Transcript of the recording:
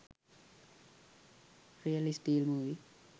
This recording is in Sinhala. real steel movie